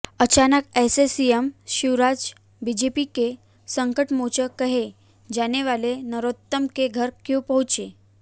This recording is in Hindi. अचानक से सीएम शिवराज बीजेपी के संकटमोचक कहे जाने वाले नरोत्तम के घर क्यों पहुंचें